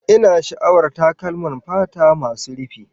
Ina sha'awar takalman fata masu rufi